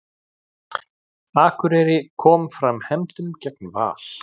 Akureyri kom fram hefndum gegn Val